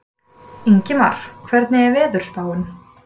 Ingmar, hvernig er veðurspáin?